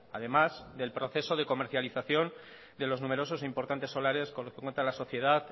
además del proceso de comercialización de los numerosos e importantes solares con los que cuenta la sociedad